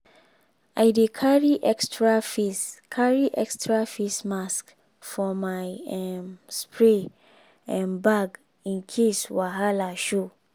i dey carry extra face carry extra face mask for my um spray um bag in case wahala show.